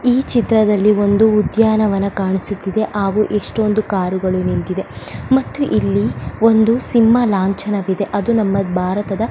ಈ ಚಿತ್ರದಲ್ಲಿ ಒಂದು ಉದ್ಯಾನವನ ಕಾಣಿಸುತ್ತಿದೆ ಹಾಗು ಎಷ್ಟೊಂದು ಕಾರುಗಳು ನಿಂತಿವೆ ಮತ್ತೆ ಇಲ್ಲಿ ಒಂದು ಸಿಂಹ ಲಾಂಛನವಿದೆ ಅದು ನಮ್ಮ ಭಾರತದ --